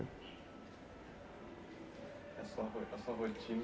A sua a sua